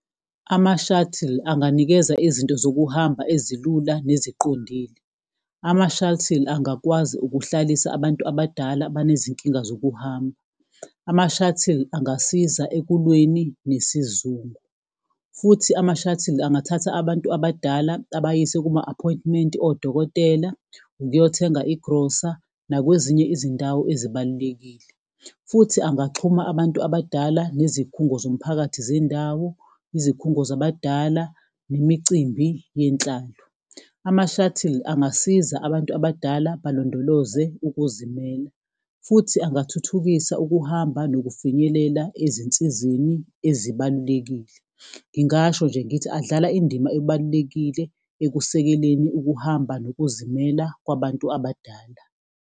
Ama-shuttle anganikeza izinto zokuhamba ezilula neziqondile, ama-shuttle angakwazi ukuhlalisa abantu abadala abanezinkinga zokuhamba, ama-shuttle angasiza ekulweni nesizungu, futhi ama-shuttle angathatha abantu abadala abayise kuma-appointment odokotela ukuyothenga igrosa, nakwezinye izindawo ezibalulekile, futhi angaxhuma abantu abadala nezikhungo zomphakathi zendawo, izikhungo zabadala, nemicimbi yezenhlalo. Ama-shuttle angasiza abantu abadala balondoloze ukuzimela, futhi angathuthukisa ukuhamba, nokufinyelela ezinsizeni ezibalulekile. Ngingasho nje ngithi adlala indima ebalulekile ekusekeleni ukuhamba nokuzimela kwabantu abadala.